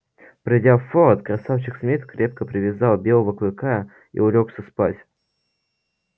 придя в форт красавчик смит крепко привязал белого клыка и улёгся спать